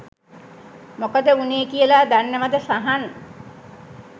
මොකද වුනේ කියලා දන්නවද සහන්?